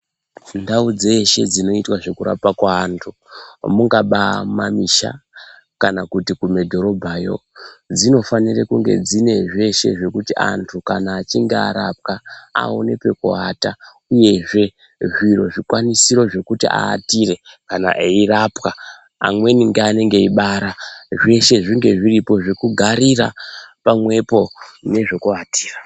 Ndau dzeshe dzinoitwe zvekurapwe kweantu, mungaba mumamisha kana kuti kumadhorobhayo, dzinofanire kunge dzine zveshe zvekuti antu kana achinge arapwa aone pekuata uyezve zviro zvikwanisiro zvekuti aatire kana eirapwa, amweni ngeanenge eibara. Zveshe zvinge zviripo zvekugarira pamwepo nezvekuatira.